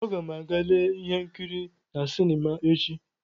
Aga m aga lee ihe nkiri na sinima echi.